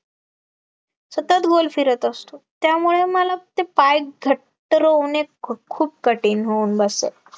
सतत गोल फिरत असतो, त्यामुळे मला ते पाय घट्ट रोवण्यात खूप खूप कठीण होऊन बसे